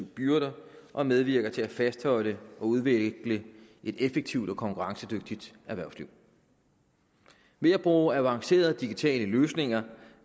byrder og medvirker til at fastholde og udvikle et effektivt og konkurrencedygtigt erhvervsliv ved at bruge avancerede digitale løsninger